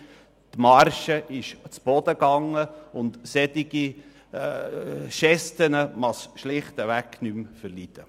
Die Marge befindet sich am Boden, und solche Gesten verträgt es schlicht nicht mehr.